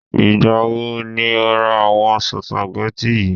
Ìgbà wo ni o ra àwọn spaghetti yi?